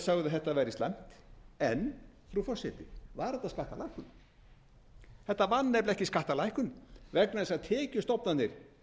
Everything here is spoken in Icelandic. þetta væri slæmt en frú forseti var þetta skattalækkun þetta var nefnilega ekki skattalækkun vegna þess að tekjustofnarnir